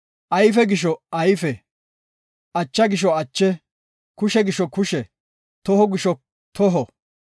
ayfe gisho ayfe, acha gisho ache, kushe gisho kushe, toho gisho toho,